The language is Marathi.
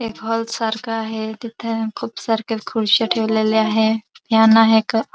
एक हाॅल सारख आहे तिथ खुप सारख्या खुर्च्या ठेवलेल्या आहे फॅन आहे एक --